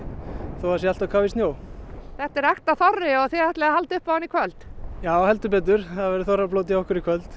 þó það sé allt á kafi í snjó þetta er ekta þorri og þið ætlið að halda upp á hann í kvöld já heldur betur það verður þorrablót hjá okkur í kvöld